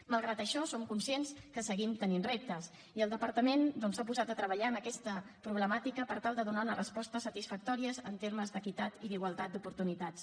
malgrat això som conscients que seguim tenint reptes i el departament doncs s’ha posat a treballar en aquesta problemàtica per tal de donar hi una resposta satisfactòria en termes d’equitat i d’igualtat d’oportunitats